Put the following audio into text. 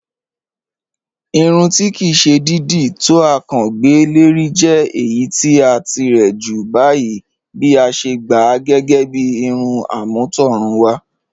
Ìrùn tí kí sè dídí to à kán gbẹ́ lẹ̀rì jẹ̀ ẹ̀yì ti à tíre jù báyìí bí à sè gbá à gẹ́gẹ́ bí ìrùn am̀ọ̀tọ̀rùnwà